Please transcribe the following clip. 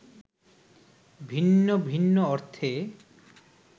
ভিন্ন ভিন্ন অর্থে